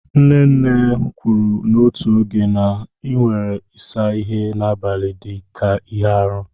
Nne nne m kwuru n'otu oge na a na-ewere ịsa ihe n'abalị dị ka ihe arụ.